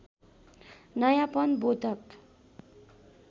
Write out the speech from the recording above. नयाँपन बोधक